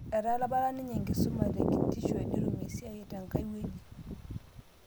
Etapala apanye enkisuma tekitisho netum esiai tenkai wueji